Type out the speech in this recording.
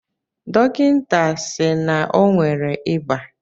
Dọkịta si n'onwe re ịba